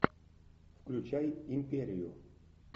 включай империю